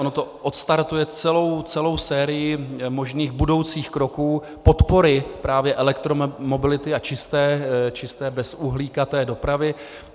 Ono to odstartuje celou sérii možných budoucích kroků podpory právě elektromobility a čisté bezuhlíkové dopravy.